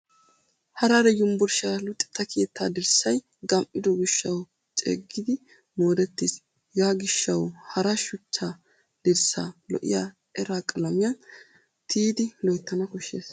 Harare yunvurushiyaa luxetta keettay dirssay gam'ido gishshawu ceeggidi moorettis. Hegaa gishshawu hara shuchcha dirssaa lo'iya era qalamiyaan tiyidi loyttana koshshes.